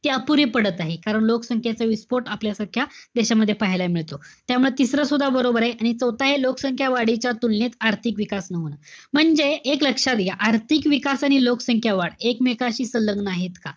ती अपुरी पडत आहे. कारण लोकसंख्येयचा विस्फोट आपल्यासारख्या देशामध्ये पाहायला मिळतो. त्यामुळे तिसरं सुद्धा बरोबर आहे. आणि चौथ आहे, लोकसंख्या वाढीच्या तुलनेत आर्थिक विकास. म्हणजे एक लक्षात घ्या. आर्थिक विकास आणि लोकसंख्या वाढ एकमेकांशी संलग्न आहे का.